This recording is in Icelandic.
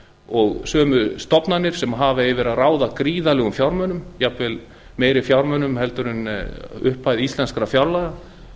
og sömu stofnanir sem hafa yfir að ráða gríðarlegum fjármunum jafnvel meiri fjármunum en nemur upphæð íslenskra fjárlaga